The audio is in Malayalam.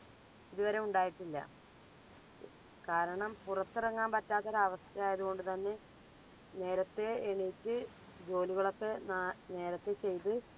ഇതുവരെ ഉണ്ടായിട്ടില്ല. കാരണം പുറത്തിറങ്ങാൻ പറ്റാത്തൊരു അവസ്ഥയായതു കൊണ്ട് തന്നെ നേരത്തെ എണീറ്റ് ജോലികളൊക്കെ നാ നേരത്തെ ചെയ്ത്